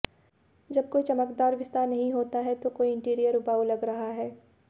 जब कोई चमकदार विस्तार नहीं होता है तो कोई इंटीरियर उबाऊ लग रहा है